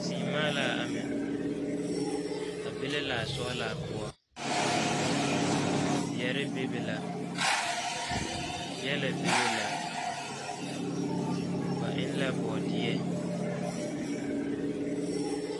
seemaa la a amɛ a be la laa sɔgelaa poɔ, zeɛre bebe la gyɛlɛ bebe la ba eŋ la bɔɔdeɛ